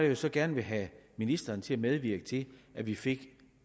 jeg så gerne vil have ministeren til at medvirke til at vi fik